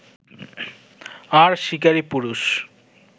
আর শিকারী পুরুষ